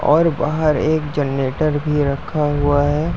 और बाहर एक जनरेटर भी रखा हुआ है।